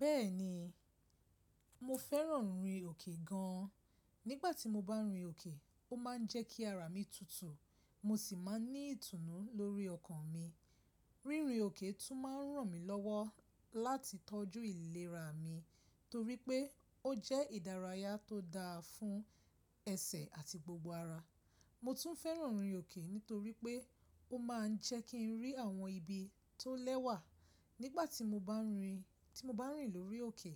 Bẹ́ẹ̀ni, mo fẹ́ràn rìn òkè gan an. Nígbà tí mo bá n rìn òkè, ó máa ń jẹ́ kí ara mi tutù, mo sì máa ń ní ìtùnú lórí ọkàn mi. Rírin òkè tún máa ń ràn mí lọ́wọ́ láti tọ́jú ìlera mi torí pé ó jẹ́ ìdárayá tó dáa fún ẹsẹ̀ àti gbogbo ara. Mo tún fẹ́ràn rìn òkè nítorí pé ó máa ń jẹ́ kí n rí àwọn ibi tó lẹ́wà. Nígbà tí mo bá rìn, tí mo bá rìn lórí òkè,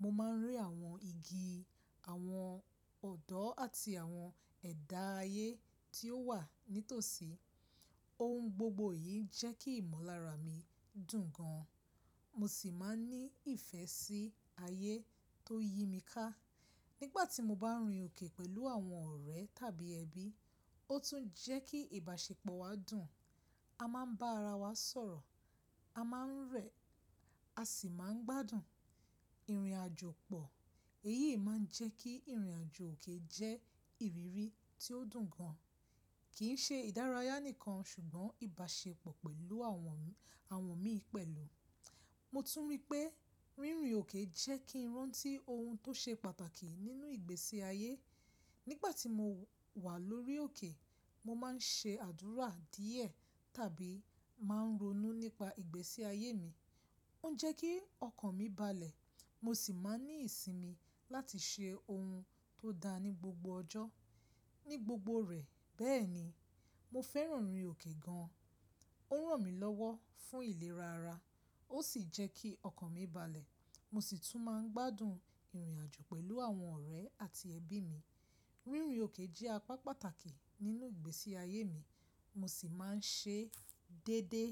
mo máa ń rí àwọn igi, àwọn ọ̀dọ́ àti àwọn ẹ̀dá ayé tí ó wà nítòsí. Ohun gbogbo yìí jẹ́ kí ìmọ̀lára mi dùn gan, mo sì máa ń ní ìfẹ́ sí ayé tó yí mi ká. Nígbà tí mo bá rìn òkè pẹ̀lú àwọn ọ̀rẹ́ tàbí ẹbí, ó tún jẹ́ kí ìbáṣepọ̀ wa dùn. A máa ń bá ara wa sọ̀rọ̀, a máa ń rẹ̀, a sì máa ń gbádùn ìrìnàjò pọ̀. Èyí máa ń jẹ́ kí ìrìnàjò òkè jẹ́ ìrírí tí ó dùn gan-an, kì ń ṣe ìdárayá nìkan ṣùgbọ́n ìbáṣepọ̀ pẹ̀lú àwọn, àwọn mi pẹ̀lú. Mo tún rí pé rínrin òkè jẹ́ kí n rántí ohun tó ṣe pàtàkì nínú ìgbésí ayé. Nígbà tí mo wà lórí òkè, mo máa ń ṣe àdúrà díẹ̀ tàbí máa ń ronú nípa ìgbésí ayé mi. Ó ń jẹ́ kí ọkàn mi balẹ̀, mo sì máa ń ní ìsinmi láti ṣe ohun tó da ní gbogbo ọjọ́, ní gbogbo rẹ̀. Bẹ́ẹ̀ni, mo fẹ́ràn rìn òkè gan-an. Ó ń ràn mí lọ́wọ́ fún ìlera ara, ó sì jẹ́ kí ọkàn mi balẹ̀. Mo sì tún máa ń gbádùn ìrìnàjò pẹ̀lú àwọn ọ̀rẹ́ àti ẹbí mi. Rínrin òkè jẹ́ apá pàtàkì nínú ìgbésí ayé mi, mo sì máa ń ṣe déédéé.